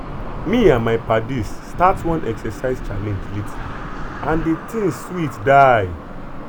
me and my paddies start one exercise challenge lately and the thing sweet die.